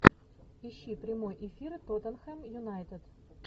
ищи прямой эфир тоттенхэм юнайтед